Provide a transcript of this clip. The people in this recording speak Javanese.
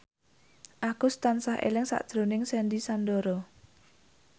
Agus tansah eling sakjroning Sandy Sandoro